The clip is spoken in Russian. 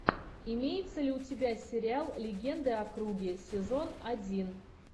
имеется ли у тебя сериал легенды о круге сезон один